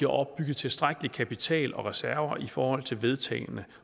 opbygget tilstrækkelig kapital og reserver i forhold til vedtagne